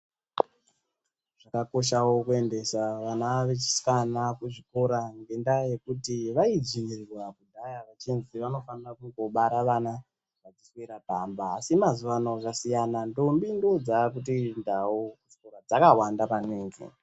Zvakakoshawo kuendesa vana vechieikana kuzvikora ngendaa yekuti vaidzvinyirirwa kudhaya kuti vanofanira kungobara vana vachiswera pamba asi mazuwano zvasiyana ndombi ndodzakutendawo kuchikora dzakawanda maningi.